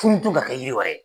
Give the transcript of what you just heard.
ka kɛ yiri wɛrɛ ye.